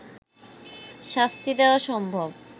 শাস্তি দেয়া সম্ভব